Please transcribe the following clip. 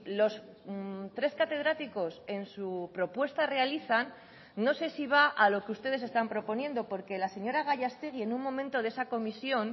los tres catedráticos en su propuesta realizan no sé si va a lo que ustedes están proponiendo porque la señora gallastegui en un momento de esa comisión